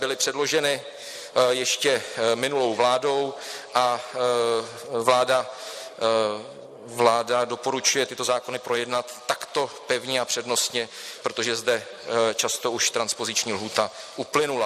Byly předloženy ještě minulou vládou a vláda doporučuje tyto zákony projednat takto pevně a přednostně, protože zde často už transpoziční lhůta uplynula.